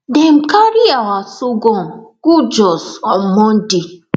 dem carry our sorghum go jos on monday